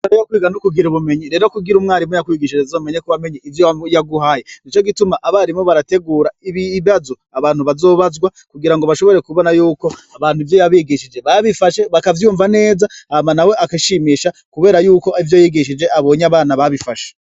Mare ykwiga n'ukugira ubumenyi rero kugira umwarimu ya kwigishije azomenye kubamenye ivyo yaguhaye ni co gituma abarimu barategura ibibazo abantu bazobazwa kugira ngo bashobore kubona yuko abantu ivyo yabigishije babifashe bakavyumva neza ama na we akashimisha, kubera yuko ivyo yigishije abonye abana babifashe.